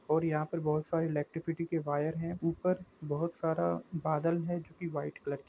और यहा पे बहुत सारे इलेट्रीसिटी के वायर हे ऊपर बहुत सारा बादल है जो की वाईट कलार की--